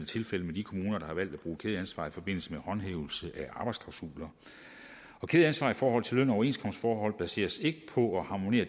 tilfældet med de kommuner der har valgt at bruge kædeansvar i forbindelse med håndhævelse af arbejdsklausuler kædeansvar i forhold til løn og overenskomstforhold baserer sig ikke på og harmonerer